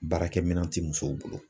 Baarakɛminɛn ti musow bolo